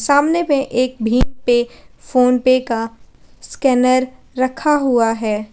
सामने पे एक भीम पे फोनपे का स्कैनर रखा हुआ है।